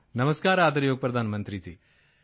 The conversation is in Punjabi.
ਨਮਸਕਾਰ ਆਦਰਯੋਗ ਪ੍ਰਧਾਨ ਮੰਤਰੀ ਜੀ